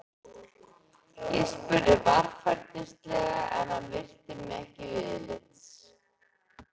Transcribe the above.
Ég spurði varfærnislega en hann virti mig ekki viðlits.